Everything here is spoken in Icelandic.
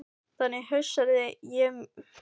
Þannig hugsaði ég mér hann við sín daglegu störf.